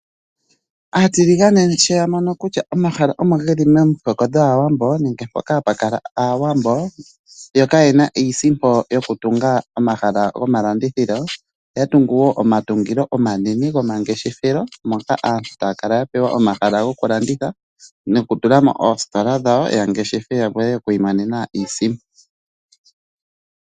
Aatiligane sho ya mono kutya omahala omo ge li momihoko dhaawambo nenge mpoka hapu kala Aawambo, yo kaye na iisimpo yokutunga omahala gomalandithilo, oya tungu omatungilo omanene gomangeshefelo moka aantu taa kala ya pewa omahala gokulanditha ya nokutula mo oostola dhawo ya landithe ya vule okwiimonena mo iisimpo.